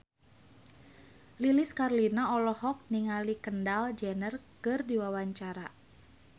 Lilis Karlina olohok ningali Kendall Jenner keur diwawancara